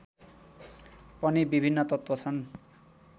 पनि विभिन्न तत्त्व छन्